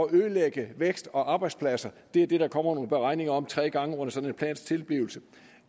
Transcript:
ødelægge vækst og arbejdspladser det er det der kommer nogle beregninger om tre gange under sådan en plans tilblivelse